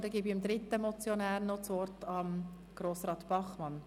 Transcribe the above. Nun gebe ich dem dritten Motionär noch das Wort, Grossrat Bachmann.